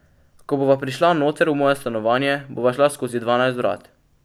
Ko bova prišla noter v moje stanovanje, bova šla skozi dvanajst vrat.